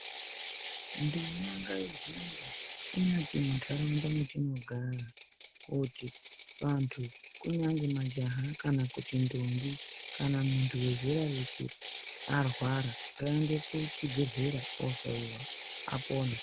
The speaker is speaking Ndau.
Nduma ngaihambe kunyati munharaunda metinogara. Kuti vantu kunyangwe majaha kana kuti ndombo kana muntu vezera reshe arwara ngaende kuchibhedhlera ohloiwa apone.